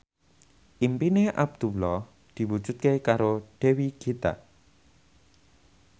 impine Abdullah diwujudke karo Dewi Gita